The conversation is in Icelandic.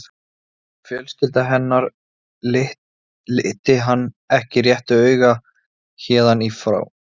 Fjölskylda hennar liti hann ekki réttu auga héðan í frá.